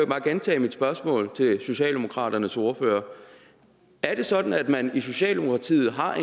bare gentage mit spørgsmål til socialdemokraternes ordfører er det sådan at man i socialdemokratiet har